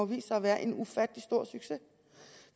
vist sig at være en ufattelig stor succes